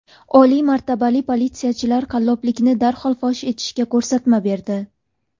Oliy martabali politsiyachilar qalloblikni darhol fosh etishga ko‘rsatma berdi.